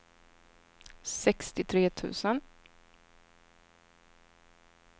sextiotre tusen